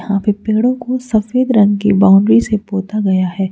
यहां पे पेड़ों को सफेद रंग की बाउंड्री से पोता गया है।